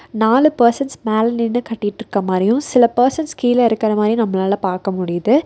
நாலு பர்சன்ஸ் மேல நின்னு கட்டிட்ருக்குற மாரியு சில பர்சன்ஸ் கீழ இருக்கற மாரியு நம்மளால பாக்க முடியிது.